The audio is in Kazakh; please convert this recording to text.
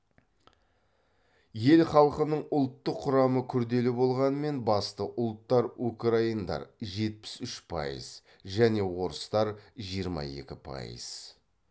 ел халқының ұлттық құрамы күрделі болғанымен басты ұлттар украиндар жетпіс үш пайыз және орыстар жиырма екі пайыз